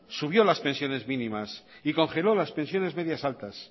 subió las pensiones mínimas y congeló las pensiones medias altas